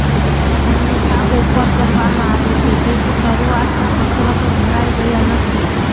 ભિન્નતા ઓફર કરવામાં આવે છે જેથી શરૂઆતમાં કસરતો ભરાઈ ગયાં નથી